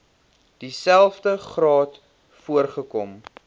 dieselfde graad voorgekom